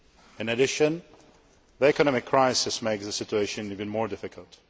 In addition, the economic crisis makes the situation even more difficult.